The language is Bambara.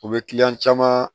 U bɛ kiliyan caman